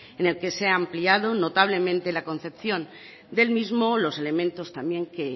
en el que se ha ampliado notablemente la concepción del mismo los elementos también que